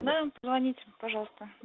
нам звоните пожалуйста